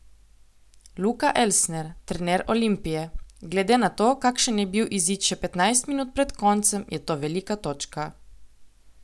Luka Elsner, trener Olimpije: "Glede na to, kakšen je bil izid še petnajst minut pred koncem, je to velika točka.